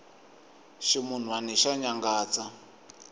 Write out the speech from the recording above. ximunwani xa nyangatsa